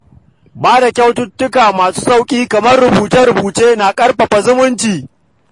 Ba da kyaututtuka masu sauƙi kamar rubuce-rubuce na ƙarfafa zumunci.